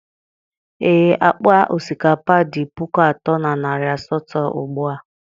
ee, akpa osikapa dị puku atọ na narị asatọ ugbu a